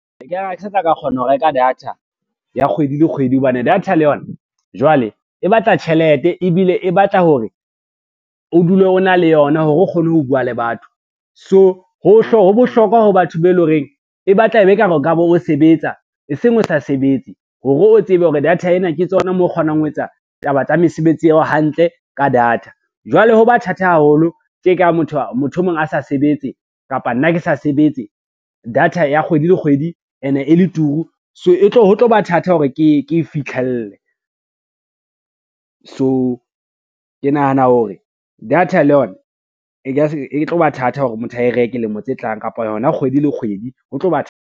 E ka re ha ke sa tla ka kgona ho reka data ya kgwedi le kgwedi, hobane data le yona jwale e batla tjhelete ebile e batla hore o dule o na le yona hore o kgone ho bua le batho. So ho bohlokwa ho batho be e lo reng, e batla e be e kare o ka be o sebetsa e seng o sa sebetse hore o tsebe hore data ena ke tsona mo kgonang ho etsa taba tsa mesebetsi eo hantle ka data. Jwale ho ba thata haholo tje ka motho e mong a sa sebetse, kapa nna ke sa sebetse data ya kgwedi le kgwedi ene e le turu, so ho tlo ba thata hore ke fitlhele. So ke nahana hore data le yona e tlo ba thata hore motho a reke lemo tse tlang, kapa yona kgwedi le kgwedi, ho tlo ba .